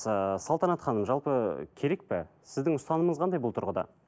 салтанат ханым жалпы керек пе сіздің ұстанымыңыз қандай бұл тұрғыда